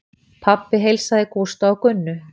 Pabbi heilsaði Gústa og Gunnu.